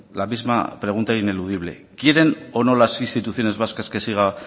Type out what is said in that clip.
la misma pregunta ineludible quieren o no las instituciones vascas que siga